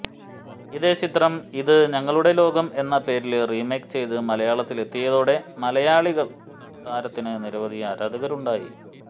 ഇതേ ചിത്രം ഇത് ഞങ്ങളുടെ ലോകം എന്ന പേരില് റീമേക്ക് ചെയ്ത് മലയാളത്തില് എത്തിയതോടെ മലയാളത്തിലും താരത്തിന് നിരവധി ആരാധകരുണ്ടായി